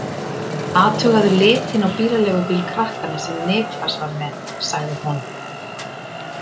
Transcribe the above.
Athugaðu litinn á bílaleigubíl krakkanna sem Niklas var með, sagði hún.